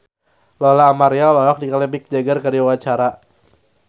Lola Amaria olohok ningali Mick Jagger keur diwawancara